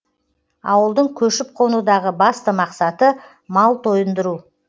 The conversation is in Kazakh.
ауылдың көшіп қонудағы басты мақсаты мал тойындыру